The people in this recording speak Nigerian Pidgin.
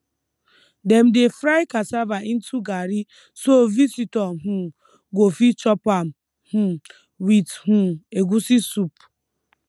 dem dey fry cassava into garri so visitor um go fit chop am um with um egusi soup